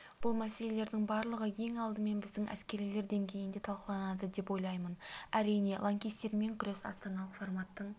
бұл мәселелердің барлығы ең алдымен біздің әскерилер деңгейінде талқыланады деп ойлаймын әрине лаңкестермен күрес астаналық форматтың